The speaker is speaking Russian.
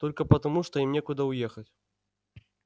только потому что им некуда уехать